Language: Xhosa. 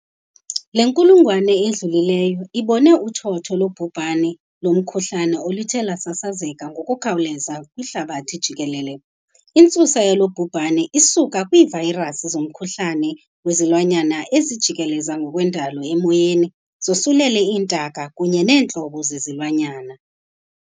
Le nkulungwane idlulileyo ibone uthotho lobhubhane lomkhuhlane oluthe lwasasazeka ngokukhawuleza kwihlabathi jikelele. Intsusa yalo bhubhane isuka kwiivayirasi zomkhuhlane wezilwanyana ezijikeleza ngokwendalo emoyeni zosulele iintaka kunye neentlobo zezilwanyana.